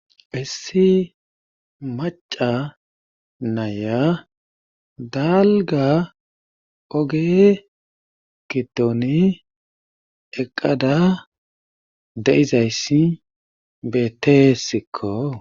Issi macca nayiya dalgga oge gidoni eqqada de'izayssi beetesikko